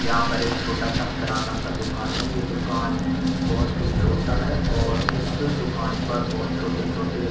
यहाँ पर एक छोटा सा किराना का दुकान है ये दुकान बहुत ही छोटा है और इस दुकान पर बहुत छोटे छोटे --